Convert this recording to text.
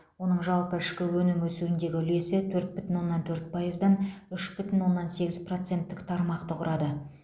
оның жалпы ішкі өнім өсуіндегі үлесі төрт бүтін оннан төрт пайыздан үш бүтін оннан сегіз проценттік тармақты құрады